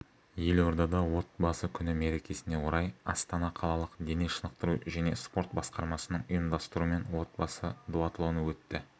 елордада отбасы күні мерекесіне орай астана қалалық дене шынықтыру және спорт басқармасының ұйымдастыруымен отбасы дуатлоны өтті